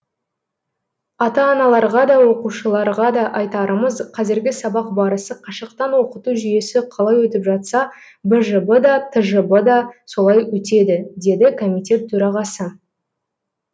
ата аналарға да оқушыларға да айтарымыз қазіргі сабақ барысы қашықтан оқыту жүйесі қалай өтіп жатса бжб да тжб да солай өтеді деді комитет төрағасы